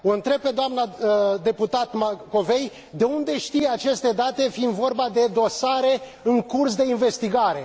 O întreb pe doamna deputat Macovei de unde știe aceste date, fiind vorba de dosare în curs de investigare.